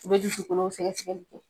U be dusu su kɔnɔ fɛ kɛ